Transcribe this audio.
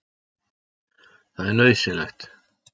Það er nauðsynlegt